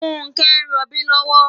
Funke n ròbi lòwò